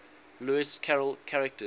lewis carroll characters